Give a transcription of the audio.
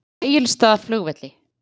Egilsstaðaflugvelli